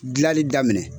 Gilali daminɛ